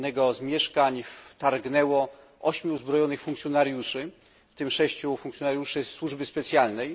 Do jednego z mieszkań wtargnęło 8 uzbrojonych funkcjonariuszy, w tym 6 funkcjonariuszy służby specjalnej.